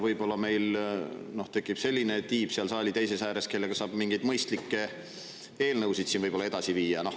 Võib-olla tekib meil seal saali teises ääres selline tiib, kellega saab mingeid mõistlikke eelnõusid siin edasi viia.